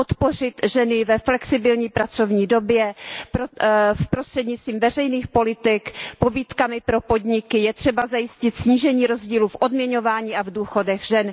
podpořit ženy ve flexibilní pracovní době prostřednictvím veřejných politik, pobídkami pro podniky, je třeba zajistit snížení rozdílu v odměňování a v důchodech žen.